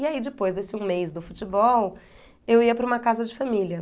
E aí depois desse um mês do futebol, eu ia para uma casa de família.